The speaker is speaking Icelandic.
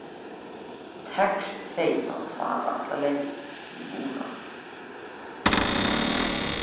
Tekst þeim að fara alla leið núna?